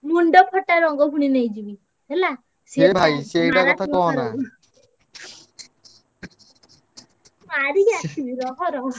ମୁଣ୍ଡ ଫଟା ରଙ୍ଗ ଫୁଣି ନେଇକି ଯିବି ହେଲା ମାଡିକି ଆସିବି ରହ ରହ।